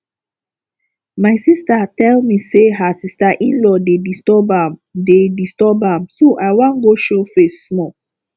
my sister tell me say her sister inlaw dey disturb am dey disturb am so i wan go show face small